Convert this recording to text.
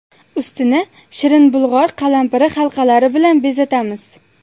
Ustini shirin bulg‘or qalampiri halqalari bilan bezatamiz.